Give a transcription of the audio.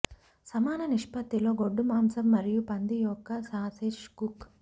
సమాన నిష్పత్తిలో గొడ్డు మాంసం మరియు పంది యొక్క సాసేజ్ కుక్